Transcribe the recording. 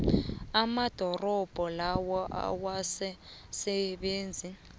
amarobodo lawa awasasebenzi